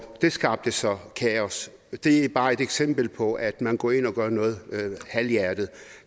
det skabte så kaos det er bare et eksempel på at man går ind og gør noget halvhjertet